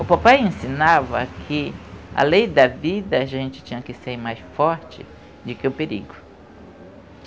O papai ensinava que a lei da vida a gente tinha que ser mais forte de que o perigo.